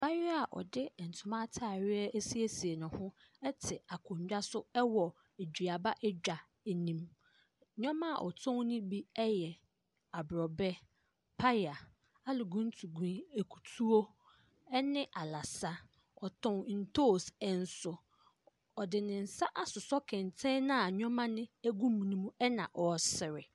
Abaayea a ɔde ntoma ataareɛ asiesie ne ho. Ɛte akonna so ɛwɔ eduaba adwa anim. Nnoɔma a ɔtɔn no bi yɛ abroba, paya, aluguntugui, akutuo ne alasa. Ɔtɔn ntoos nso. Ɔde ne nsa asosɔ kɛntɛn no a nnoɔma gu mu na ɔresere.